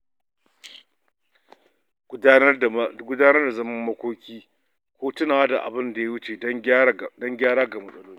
Gudanar da zaman makoki ko tunawa da abinda ya wuce don gyara ga matsaloli.